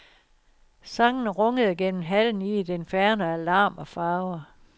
Sangen rungede gennem hallen i et inferno af larm og farver.